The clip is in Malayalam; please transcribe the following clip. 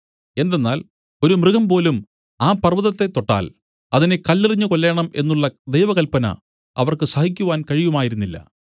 എന്തെന്നാൽ ഒരു മൃഗം പോലും ആ പർവ്വതത്തെ തൊട്ടാൽ അതിനെ കല്ലെറിഞ്ഞു കൊല്ലേണം എന്നുള്ള ദൈവകല്പന അവർക്ക് സഹിക്കുവാൻ കഴിയുമായിരുന്നില്ല